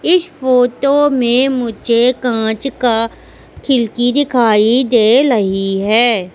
इस फोटो में मुझे कांच का खिड़की दिखाई दे लही है।